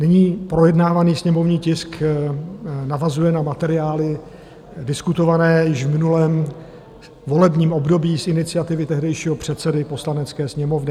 Nyní projednávaný sněmovní tisk navazuje na materiály diskutované již v minulém volebním období z iniciativy tehdejšího předsedy Poslanecké sněmovny.